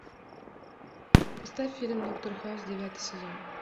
поставь фильм доктор хаус девятый сезон